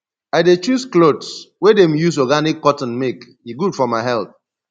i dey choose clothes wey dem use organic cotton make e good for my health